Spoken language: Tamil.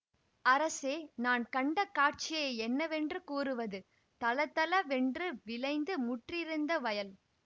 அரசே நான் கண்ட காட்சியை என்னவென்று கூறுவது தளதளவென்று விளைந்து முற்றியிருந்த வயல்